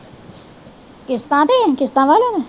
ਕਿਸਤਾਂ ਤੇ ਕਿਸਤਾਂ ਵੱਲ